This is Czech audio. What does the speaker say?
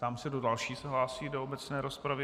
Ptám se, kdo další se hlásí do obecné rozpravy.